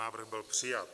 Návrh byl přijat.